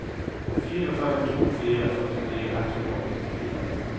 fire fem to fire førtini ett hundre og nittifire